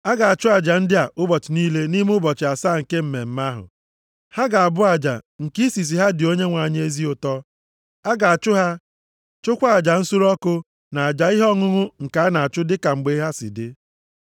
A ga-achụ aja ndị a ụbọchị niile nʼime ụbọchị asaa nke mmemme ahụ. Ha ga-abụ aja nke isisi ha dị Onyenwe anyị ezi ụtọ. A ga-achụ ha, chụkwaa aja nsure ọkụ na aja ihe ọṅụṅụ nke a na-achụ dịka mgbe ha si dị.